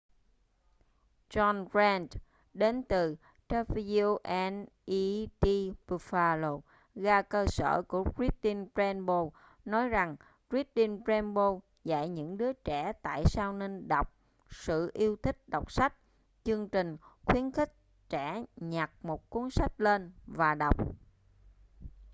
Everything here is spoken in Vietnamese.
john grant đến từ wned buffalo ga cơ sở của reading rainbow nói rằng reading rainbow dạy những đưa trẻ tại sao nên đọc,...sự yêu thích đọc sách - [chương trình] khuyến khích trẻ nhặt một cuốn sách lên và đọc.